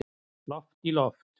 Loft í loft